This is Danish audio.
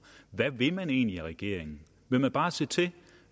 hvad vil man egentlig i regeringen vil man bare se til